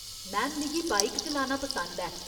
Ma'am, मिगी bike चलाना पसंद ऐ।